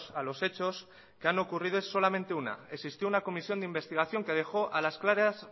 a los hechos que han ocurrido es solamente una existió una comisión de investigación que dejó a las claras